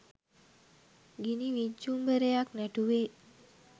ගිනි විජ්ජුම්බරයක් නැටුවේ.